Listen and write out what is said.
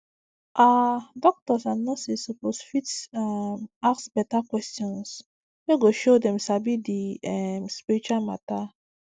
ah doctors and nurses suppose fit um ask beta questions wey go show dem sabi di um spirit matter um